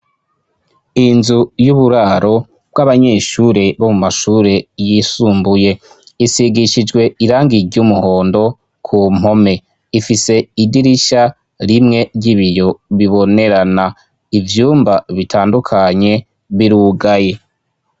inzu y'uburaro bw'abanyeshuri bo mu mashuri yisumbuye isigishijwe irangi ry' umuhondo ku mpome ifise idirisha rimwe ry'ibiyo bibonerana ivyumba bitandukanye birugaye